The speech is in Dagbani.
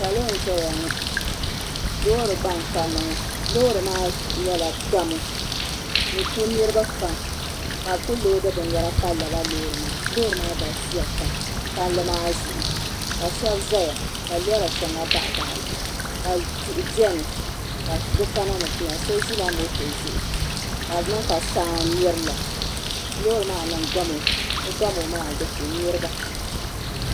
Salo n ʒɛya ŋɔ loori gba n kanna ŋɔ loori maa nyɛla gamo n ku niraba pam ka bi ku loodi binyɛra pali lala loori maa loori maa galisiya pam palli maa zuɣu ka shab ʒɛya ka lora shɛŋa baɣa baɣali ka tihi biɛni ka bi kana ni bi ti nyɛ so ʒila moto zuɣu ka di niŋ ka saa n mirila loori maa niŋ gamo o gamo maa di ku niraba